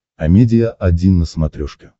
амедиа один на смотрешке